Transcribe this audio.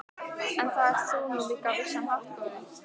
En það ert þú nú líka á vissan hátt, góði